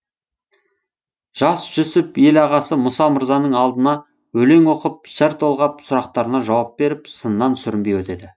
жас жүсіп ел ағасы мұса мырзаның алдына өлең оқып жыр толғап сұрақтарына жауап беріп сыннан сүрінбей өтеді